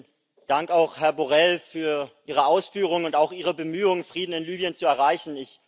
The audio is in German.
Vielen Dank auch, Herr Borrell, für Ihre Ausführung und auch Ihre Bemühung, Frieden in Libyen zu erreichen.